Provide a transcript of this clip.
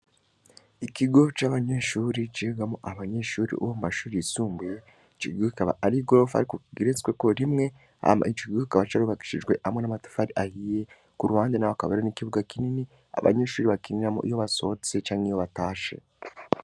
Ikigo c'abanyeshure cigamwo abanyeshure bo mu mashure yisumbuye, ico kigo kikaba ari igorofa ariko igeretsweko rimwe, hama ico kigo kikaba carubakishijwe hamwe n'amatafari ahiye, ku ruhande n'aho hakaba hariho n'ikibuga kinini, abanyeshure bakiniramwo iyo basohotse canke iyo batashe.